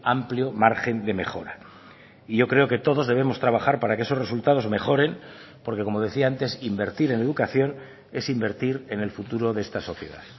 amplio margen de mejora y yo creo que todos debemos trabajar para que esos resultados mejoren porque como decía antes invertir en educación es invertir en el futuro de esta sociedad